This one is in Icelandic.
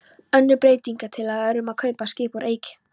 Önnur breytingatillaga er um að kaupa skip úr eik.